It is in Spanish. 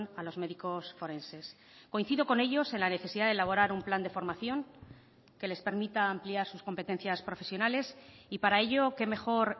a los médicos forenses coincido con ellos en la necesidad de elaborar un plan de formación que les permita ampliar sus competencias profesionales y para ello qué mejor